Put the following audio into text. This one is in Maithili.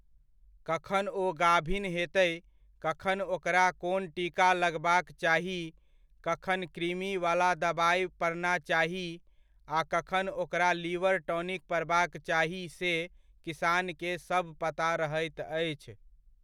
कखन ओ गाभिन हेतय, कखन ओकरा कोन टीका लगबाक चाही, कखन कृमि वाला दवाइ पड़ना चाही आ कखन ओकरा लिवर टॉनिक पड़बाक चाही से किसानके सब पता रहैत अछि।